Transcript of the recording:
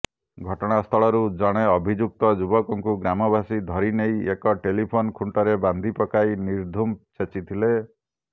ଘଟଣା ସ୍ଥଳରୁ ଜଣେ ଅଭିଯୁକ୍ତ ଯୁବକକୁ ଗ୍ରାମବାସୀ ଧରିନେଇ ଏକ ଟେଲିଫୋନ ଖୁଂଟରେ ବାନ୍ଧି ପକାଇ ନିର୍ଦ୍ଧୁମ ଛେଚିଥିଲେ